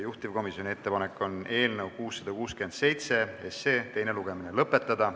Juhtivkomisjoni ettepanek on eelnõu 667 teine lugemine lõpetada.